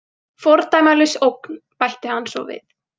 Fordæmalaus ógn, bætti hann svo við.